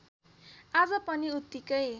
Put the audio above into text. आज पनि उत्तिकै